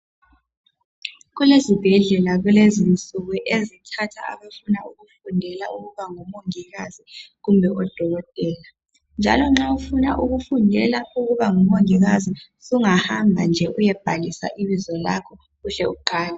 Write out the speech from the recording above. Kulezibhedlela kulezinsuku ezithatha abafuna ukufundelwa ukuba ngomongikazi kumbe odokotela njalo nxa ufuna ukufundela ukuba ngumongikazi sungahambe nje uyebhalisa ibizo lakho uhle uqale